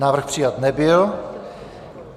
Návrh přijat nebyl.